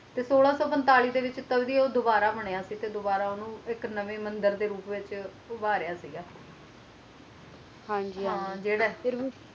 ਤੇ ਸੋਲਾਂ ਸੋ ਪੈਂਟਾਲਿਸ ਦੇ ਵਿਚ ਤਦ ਹੈ ਵੋ ਦੁਬਾਰਾ ਬੰਨਿਆ ਸੀ ਤੇ ਫਿਰ ਉਸ ਨੂੰ ਇਕ ਨਵੇ ਮੰਦਿਰ ਦੇ ਰੂਪ ਵਿਚ ਉਭਾਰ ਸੀ ਗਯਾ ਹਨ ਜੀ ਹਨ ਜੀ